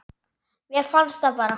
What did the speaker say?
Mér fannst það bara.